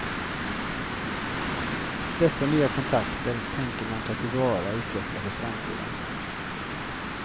Dessa nya kontakter tänker man ta till vara och utveckla för framtiden.